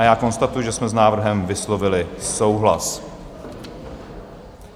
A já konstatuji, že jsme s návrhem vyslovili souhlas.